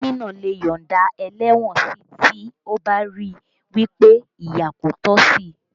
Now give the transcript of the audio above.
Gómìnà lè yọ̀nda ẹlẹ́wọ̀n si tí ó bá ríi wí pé ìyà kò tọ́ sí